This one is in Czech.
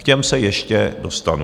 K těm se ještě dostanu.